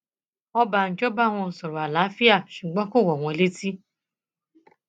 ọbànjọ bá wọn sọrọ àlàáfíà ṣùgbọn kò wọn wọn létí